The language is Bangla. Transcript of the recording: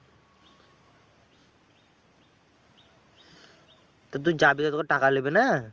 তো তুই যাবি, তোকে টাকা লেবে না?